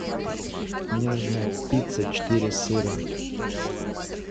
мне нужна пицца четыре сыра